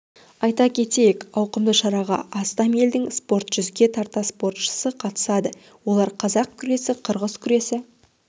айта кетейік ауқымды шараға астам елдің спорт жүзге тарта спортшы қатысады олар қазақ күресі қырғыз күресі